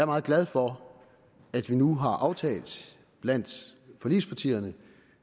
meget glad for at vi nu har aftalt blandt forligspartierne